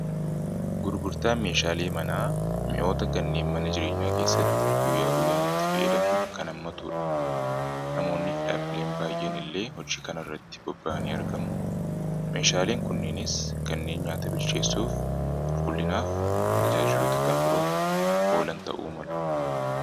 gurgurtaa meeshaalee manaa mi'oota kanneen mana jireenyaa keessatti guyyaa guyyaan itti fayyadamnu kan ammatuudha namoonni fi dhaabbileen baay'een illee hojii kana irratti bobba'anii argamu meeshaaleen kunneenis kanneen nyaata bilcheessuuf qulqullinaaf tajaajiluta kan biroof oolan ta'uu malu